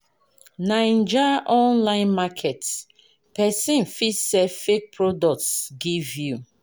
Naija online market, pesin fit sell fake products give you.